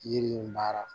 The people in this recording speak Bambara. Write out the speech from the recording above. Yiri in mara